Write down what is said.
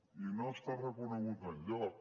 i no està reconegut enlloc